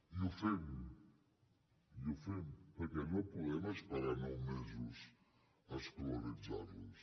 i ho fem i ho fem perquè no podem esperar nou mesos a escolaritzar los